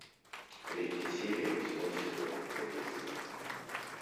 третья серия восьмой сезон кадетство